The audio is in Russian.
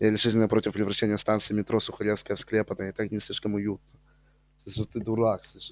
я решительно против превращения станции метро сухаревская в склеп она и так не слишком уютна